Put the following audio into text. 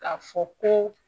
K'a fɔ ko